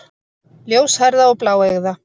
Ljóshærða og bláeygða.